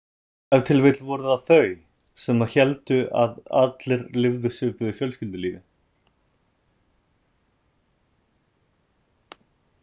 Ef til vill voru það þau sem héldu að allir lifðu svipuðu fjölskyldulífi.